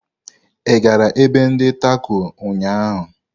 Ị gara ebe ndi Tako ụnyaahụ?